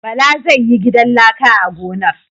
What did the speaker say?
Bala zai yi gidan laka a gonar.